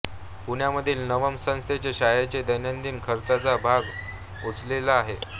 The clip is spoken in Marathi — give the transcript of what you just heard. पुण्यामधील नवम संस्थेने शाळेच्या दैनंदिन खर्चाचा भार उचललेला आहे